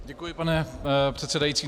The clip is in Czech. Děkuji, pane předsedající.